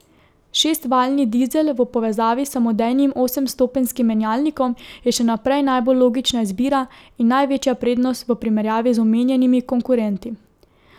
Šestvaljni dizel v povezavi s samodejnim osemstopenjskim menjalnikom je še naprej najbolj logična izbira in največja prednost v primerjavi z omenjenimi konkurenti.